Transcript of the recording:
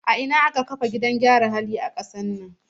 A ina aka fara kafa gidan gyaran hali a kasar nan?